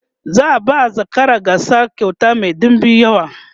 za'a ba zakarar gasar kyauta Mai ɗinbin yawa